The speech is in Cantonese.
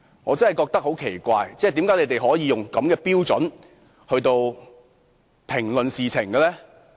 我真的覺得很奇怪，為何他們可以使用這種標準來評論事情呢？